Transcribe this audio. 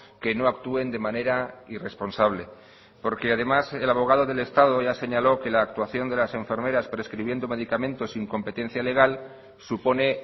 que no actúen de manera irresponsable porque además el abogado del estado ya señaló que la actuación de las enfermeras prescribiendo medicamentos sin competencia legal supone